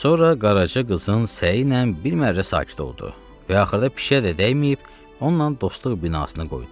Sonra qaraca qızın səyiylə bir mərrə sakit oldu və axırda pişikə də dəyməyib onunla dostluq binasını qoydu.